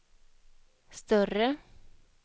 större